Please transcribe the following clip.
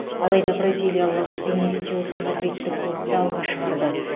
алайда бразилиялық винисиус мадридтік клубты алға шығарды